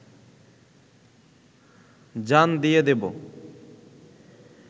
জান দিয়ে দেবো